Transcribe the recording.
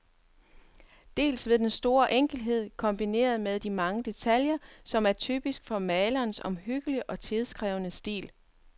Dels ved den store enkelhed, kombineret med de mange detaljer, som er typisk for malerens omhyggelige og tidkrævende stil.